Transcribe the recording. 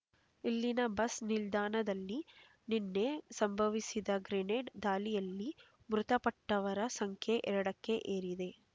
ಇಲ್ಲಿನ ಬಸ್ ನಿಲ್ದಾಣದಲ್ಲಿ ನಿನ್ನೆ ಸಂಭವಿಸಿದ ಗ್ರೆನೇಡ್ ದಾಳಿಯಲ್ಲಿ ಮೃತಪಟ್ಟವರ ಸಂಖ್ಯೆ ಎರಡಕ್ಕೆ ಏರಿದೆ